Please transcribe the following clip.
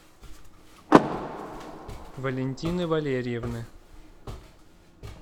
валентины валерьевны